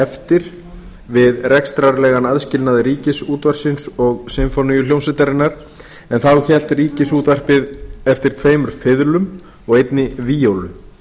eftir við rekstrarlegan aðskilnað ríkisútvarpsins og sinfóníuhljómsveitarinnar en þá hélt ríkisútvarpið eftir tveimur fiðlum og einni víólu